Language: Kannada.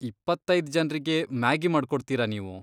ಇಪ್ಪತ್ತೈದ್ ಜನ್ರಿಗೆ ಮ್ಯಾಗಿ ಮಾಡ್ಕೊಡ್ತೀರಾ ನೀವು?